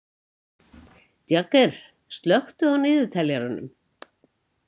Jagger, slökku á niðurteljaranum.